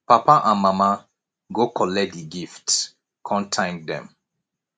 papa and mama go kollet di gifts kon thank dem